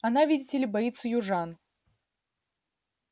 она видите ли боится южан